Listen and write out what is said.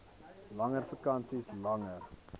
langer vakansies langer